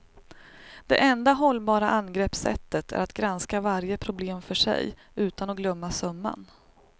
Det enda hållbara angreppssättet är att granska varje problem för sig, utan att glömma summan.